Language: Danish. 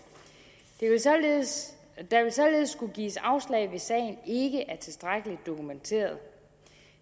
der vil således skulle gives afslag hvis sagen ikke er tilstrækkelig dokumenteret